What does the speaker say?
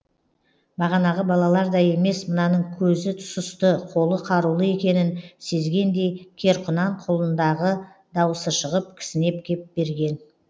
бағанағы балалардай емес мынаның көзі сұсты қолы қарулы екенін сезгендей кер құнан құлындағы дауысы шығып кісінеп кеп берген